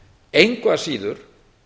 engu að síður